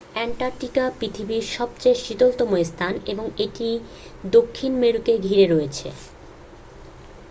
Antarctica পৃথিবীর সবচেয়ে শীতলতম স্থান এবং এটি দক্ষিণ মেরুকে ঘিরে রয়েছে